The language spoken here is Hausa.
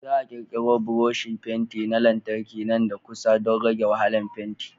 Za a ƙirƙiro buroshi fenti na lantarki nan da kusa don rage wahalar fenti.